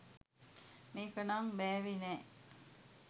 මේක නම් බෑවේ නෑ